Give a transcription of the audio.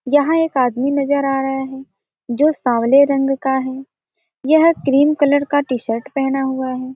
यहाँ एक आदमी नजर आ रहा है जो सामले रंग का है यह क्रीम कलर का टी-शर्ट पहना हुआ है।